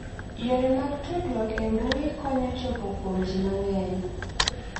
Yore mag tudruok e mbui konyo chopo kuom ji mang'eny.